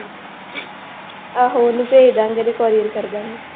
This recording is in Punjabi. ਆਹੋ ਉਹਨੂੰ ਭੇਜ ਦੇਵਾਂਗੇ ਤੇ courier ਕਰ ਦੇਵਾਂਗੇ।